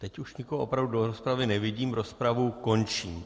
Teď už nikoho opravdu do rozpravy nevidím, rozpravu končím.